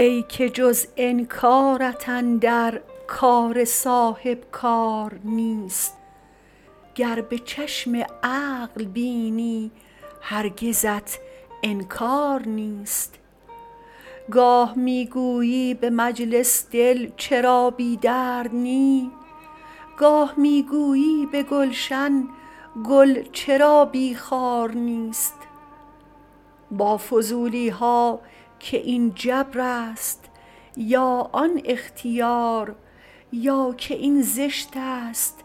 ای که جز انکارت اندر کار صاحبکار نیست گر به چشم عقل بینی هرگزت انکار نیست گاه می گویی به مجلس دل چرا بی درد نی گاه می گویی به گلشن گل چرا بی خار نیست با فضولی ها که این جبر است یا آن اختیار یا که این زشت است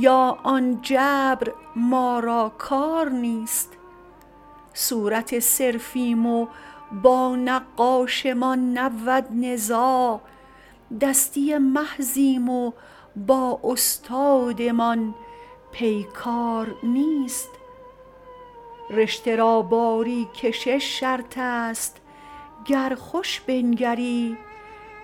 یا آن جبر ما را کار نیست صورت صرفیم و با نقاشمان نبود نزاع دستی محضیم و با استادمان پیکار نیست رشته را باری کشش شرط است گر خوش بنگری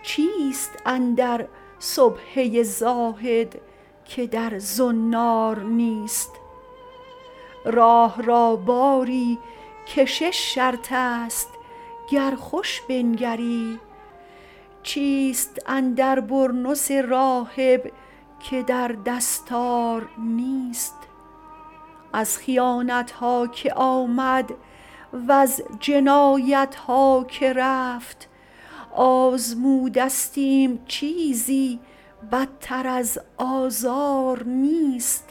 چیست اندر سبحه زاهد که در زنار نیست راه را باری کشش شرط است گر خوش بنگری چیست اندر برنس راهب که در دستار نیست از خیانتها که آمد وز جنایتها که رفت آزمودستیم چیزی بدتر از آزار نیست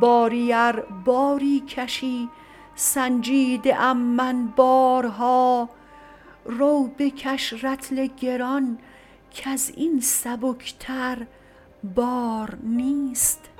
باری ار باری کشی سنجیده ام من بارها روبکش رطل گران کز این سبک تر بار نیست